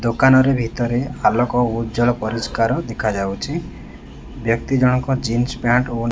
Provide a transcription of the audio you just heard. ଦୋକାନରେ ଭିତରେ ଆଲୋକ ଉଜ୍ଜଳ ପରିଷ୍କାର ଦେଖାଯାଉଛି ବ୍ୟକ୍ତି ଜଣକ ଜିନ୍ସ ପ୍ୟାଣ୍ଟ ଓ --